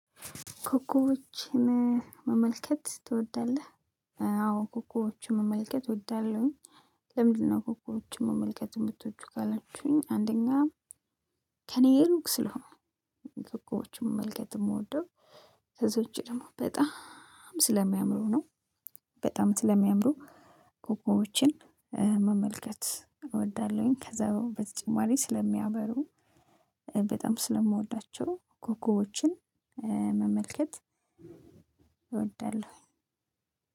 ኮኮቦችን መመልከት ትወዳልህ? አዎ ኮኮቦችን መመልከት እወዳለሁኝ። ለምንድን ነው ኮኮቦችን መመልከት የምትውጂው? ካላችሁኝ አንደኛ ከእኔ ሩቅ ስለሆኑ። ኮኮቦችን መመልከት የምወደው ከዛ ውጪ ደግሞ በጣም ስለሚያምሩ ነው። በጣም ስለሚያምሩ ኮኮቦችን መመልከት እወዳለሁኝ። ከዛ በተጨማሪ ስለሚያበሩ በጣም ስለምወዳቸው ኮኮቦችን መመልከት እወዳለሁ።